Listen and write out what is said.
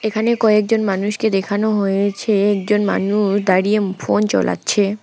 এখানে কয়েকজন মানুষকে দেখানো হয়েছে একজন মানুষ দাঁড়িয়ে ফোন চলাচ্ছে ।